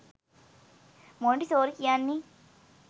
Montessori කියන්නේ.